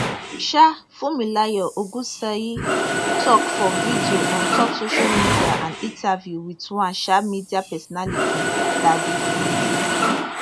um funmilayo ogunseyi tok for video ontop social media and interview with one um media personality daddy freeze